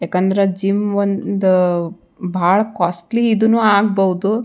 ಏಕಂದ್ರೆ ಜಿಮ್ ಒಂದ್ ಬಹಳ ಕೊಸ್ಟ್ಲಿ ಇದುನ್ ಆಗ್ಬಹುದು.